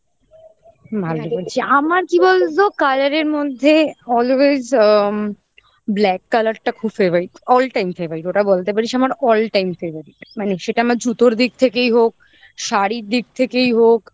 আমার কি বলতো colour এর মধ্যে always আম black colour টা খুব favourite all time favourite ওটা বলতে পারিস আমার all time favourite মানে সেটা আমার জুতোর দিক থেকেই হোক শাড়ির দিক থেকেই হোক